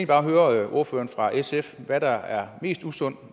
bare høre ordføreren fra sf hvad der er mest usundt